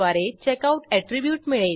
येथे बुकिश्यूड 1 आहे का ते तपासू